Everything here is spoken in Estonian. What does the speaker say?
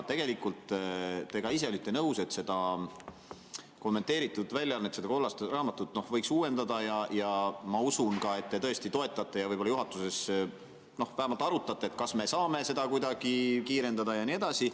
Tegelikult te ka ise olite nõus, et seda kommenteeritud väljaannet, seda kollast raamatut, võiks uuendada, ja ma usun, et te tõesti toetate ja võib-olla juhatuses vähemalt arutate, kas me saame seda kuidagi kiirendada ja nii edasi.